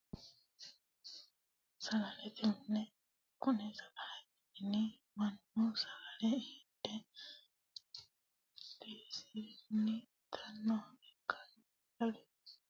Sagalete mine, kuni sagalete mini manu sagale hidhe birisinni itanoha ikkanna, sagale qixeesano manni daano manira danu danu'nikunni sagale qixxesiranno